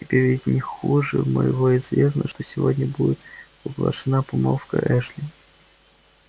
тебе ведь не хуже моего известно что сегодня будет оглашена помолвка эшли